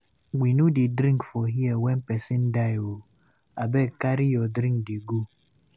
We no dey drink for here wen pesin die o, abeg carry your drink dey go.